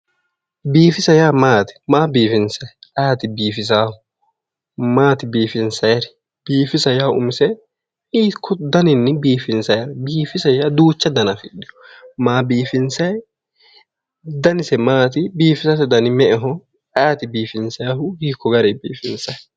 Biiffisa yaa maati, maa biifinsanni ayeeti biifisanohu, maati biifinsanniri, biiffisa umise hiikko dannanini biiffinsanni, biiffisa duucha danna afidhino, maa biiffinsanni dannise maati, biiffisate danni me'eho, ayeeti biiffisanohu, hiikko garini biiffinsanni.